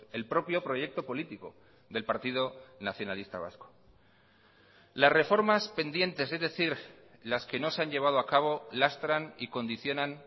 el propio proyecto político del partido nacionalista vasco las reformas pendientes es decir las que no se han llevado a cabo lastran y condicionan